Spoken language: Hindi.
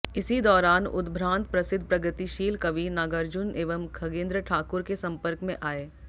इसी दौरान उद्भ्रांत प्रसिद्ध प्रगतिशील कवि नागार्जुन एवं खगेन्द्र ठाकुर के संपर्क में आए